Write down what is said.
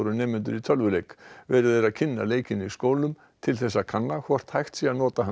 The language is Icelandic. nemendur tölvuleik verið er að kynna leikinn í skólum til að kanna hvort hægt sé að nota hann